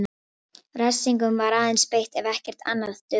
Refsingum var aðeins beitt ef ekkert annað dugði.